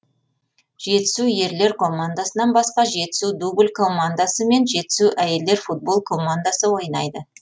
жетісу ерлер командасынан басқа жетісу дубль командасы мен жетісу әйелдер футбол командасы ойнайды